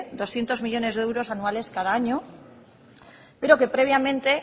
doscientos millónes de euros anuales cada año pero que previamente